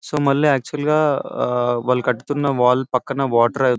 So మళ్ళీ actual గా వాళ్లు కడుతున్న వాల్ పక్కన వాటర్ .